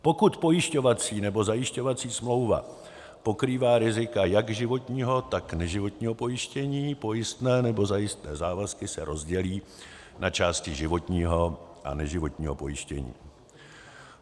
Pokud pojišťovací nebo zajišťovací smlouva pokrývá rizika jak životního, tak neživotního pojištění, pojistné nebo zajistné závazky se rozdělí na části životního a neživotního pojištění.